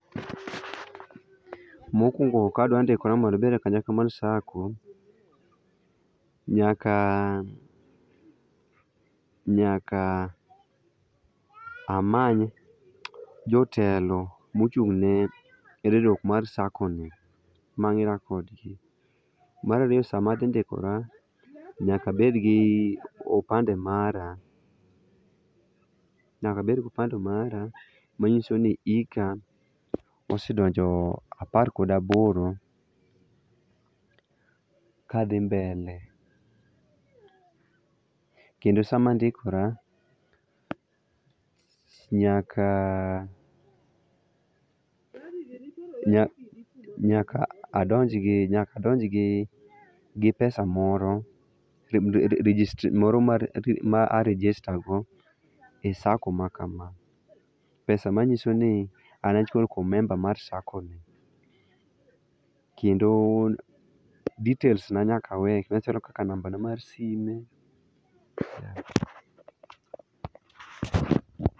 Mokuongo ka dwa ndikore mondo abed e kanyakla mar sacco, nyaka ,nyaka amany jotelo mochungne riwruok mar sacco no mangera kodgi. Mar ariyo sama adhi ndikora, nyaka abed gi opande mara, nyaka abed gi opande mara manyisoni ika osedonjo apar kod aboro kadhi mbele. Kendo sama andikora nyaka, nyaka adonjgi, nyaka adonj gi pesa moro ,registry[sc],moro ma a register go e sacco[sc] ma kama. Pesa manyisoni an achiel kuom member mar sacco ni kendo details ga nyaka awe machalo kaka nambana mar sime